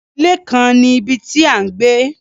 Ile kan ni ibi ti a n gbe